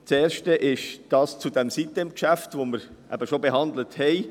Das erste ist jenes betreffend die sitem-insel AG.